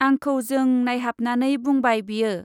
आंखौ जों नाइहाबनानै बुंबाय बियो।